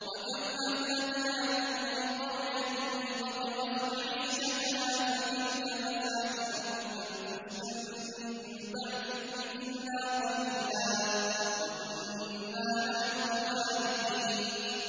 وَكَمْ أَهْلَكْنَا مِن قَرْيَةٍ بَطِرَتْ مَعِيشَتَهَا ۖ فَتِلْكَ مَسَاكِنُهُمْ لَمْ تُسْكَن مِّن بَعْدِهِمْ إِلَّا قَلِيلًا ۖ وَكُنَّا نَحْنُ الْوَارِثِينَ